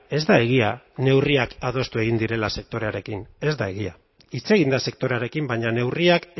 ez da egia neurriak adostu egin direla sektorearekin ez da egia hitz egin da sektorearekin baina neurriak